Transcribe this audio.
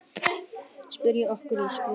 Setjum okkur í sporin.